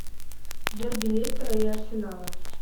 дерби лестера и арсенала